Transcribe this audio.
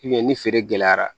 ni feere gɛlɛyara